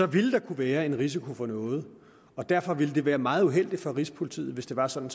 vil der kunne være en risiko for noget og derfor ville det være meget uheldigt for rigspolitiet hvis det var sådan